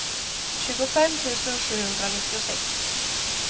tjugofem tusen sjuhundranittiosex